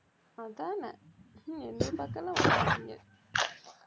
அதான என்னை பாக்க எல்லாம் வர மாட்டீங்க